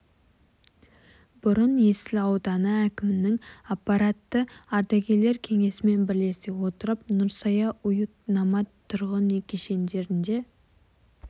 бұрын есіл ауданы әкімінің аппараты ардагерлер кеңесімен бірлесе отырып нұрсая уют номад тұрғын үй кешендерінде